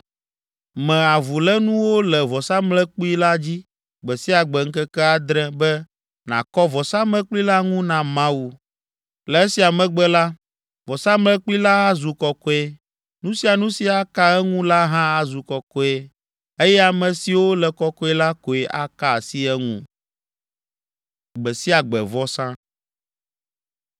Me avulénuwo le vɔsamlekpui la dzi gbe sia gbe ŋkeke adre be nàkɔ vɔsamlekpui la ŋu na Mawu. Le esia megbe la, vɔsamlekpui la azu kɔkɔe, nu sia nu si aka eŋu la hã azu kɔkɔe, eye ame siwo le kɔkɔe la koe aka asi eŋu.”